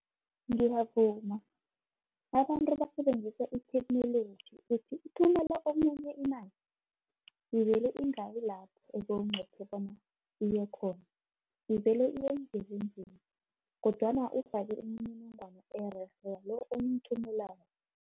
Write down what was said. Ngiyavuma abantu basebenzisa i-technology, uthumela omunye imani, ivele ingayi lapho obowunqophe bona iye khona, ivele kodwana ufake imininingwana ererhe lo, omthumelako